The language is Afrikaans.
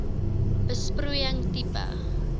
besproeiing tipe